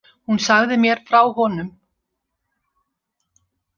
Hún sagði mér frá honum.